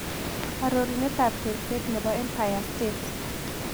Aroruneetap tekseet ne po empire state